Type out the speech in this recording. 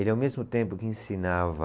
Ele, ao mesmo tempo que ensinava